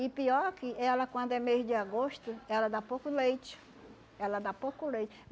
E pior que ela, quando é mês de agosto, ela dá pouco leite, ela dá pouco leite.